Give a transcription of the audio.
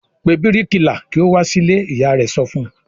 "Pe bíríkìlà kí ó wá sílé!" Ìyá rẹ̀ sọ fún un.